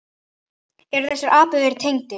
En eru þessir atburðir tengdir?